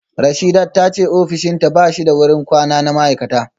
Rasheedat ta ce ofishinta ba shi da wurin kwana na ma’aikata